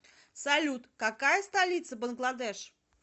салют какая столица бангладеш